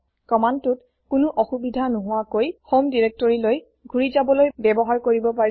কমান্দটোত কোনো অসুবিধা নোহোৱাকৈ হোম directoryলৈ ঘুৰি যাবলৈ ব্যবহাৰ কৰিব পাৰি